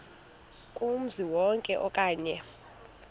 kumzi wonke okanye